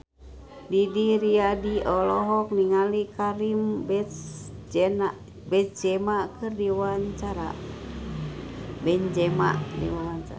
Didi Riyadi olohok ningali Karim Benzema keur diwawancara